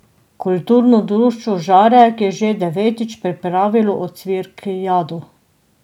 Kulturno društvo Žarek je že devetič pripravilo ocvirkijado.